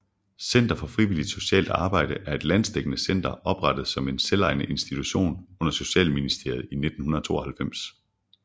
Center for Frivilligt Socialt Arbejde er et landsdækkende center oprettet som en selvejende institution under Socialministeriet i 1992